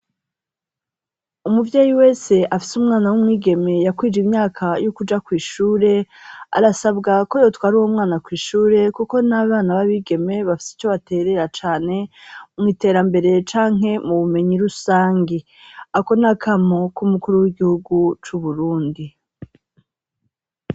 Umuvyi wese afise umwana w'umwigeme yakwije imyaka y'ukuja ku ishure, arasabwa ko yo twara uwo mwana kw'ishure kuko n'abana babigeme bafise ico baterera cane mu iterambere, canke mu bumenyi rusangi. Ako nakamo k'umukuru w'igihugu c'uburundi.